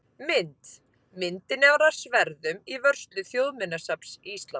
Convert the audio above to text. Mynd: Myndin er af sverðum í vörslu Þjóðminjasafns Íslands.